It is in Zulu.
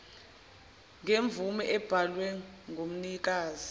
ngemvume ebhalwe ngumnikazi